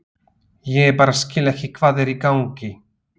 Ég bara skil ekki hvað er í gangi.